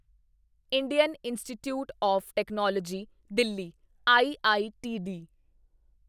Indian institute of technology Delhi IITD